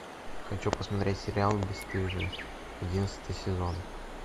хочу посмотреть сериал бесстыжие одиннадцатый сезон